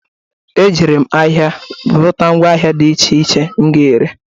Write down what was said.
Ejere m ahịa gote mgwa ahịa dị iche iche m ga-ere.